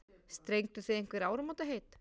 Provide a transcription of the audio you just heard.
Strengduð þið einhver áramótaheit?